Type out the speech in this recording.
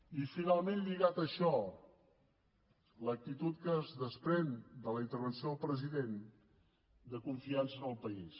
i finalment lligat a això l’actitud que es desprèn de la intervenció del president de confiança en el país